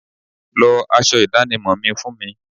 Lọ aṣọ ìdánimọ̀ mi fún mi.